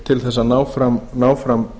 til þess að ná fram